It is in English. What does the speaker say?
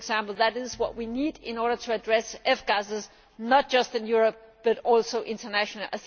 This is what we need in order to address F gases, not just in Europe, but also internationally.